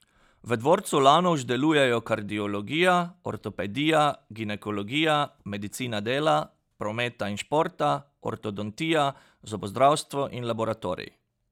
V dvorcu Lanovž delujejo kardiologija, ortopedija, ginekologija, medicina dela, prometa in športa, ortodontija, zobozdravstvo in laboratorij.